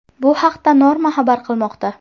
Bu haqda Norma xabar qilmoqda .